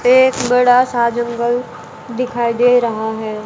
एक बड़ा सा जंगल दिखाई दे रहा है।